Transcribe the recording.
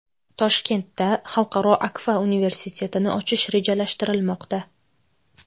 Toshkentda Xalqaro Akfa universitetini ochish rejalashtirilmoqda.